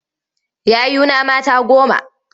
Yayuna mata goma.